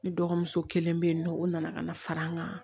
Ne dɔgɔmuso kelen bɛ yen nɔ o nana ka na fara an kan